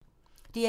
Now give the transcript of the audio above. DR1